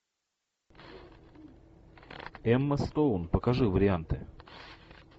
эмма стоун покажи варианты